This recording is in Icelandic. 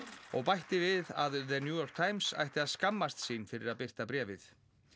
og bætti við að New York Times ætti að skammast sín fyrir að birta bréfið